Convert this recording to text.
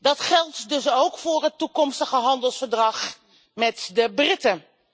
Dat geldt dus ook voor het toekomstige handelsverdrag met de Britten.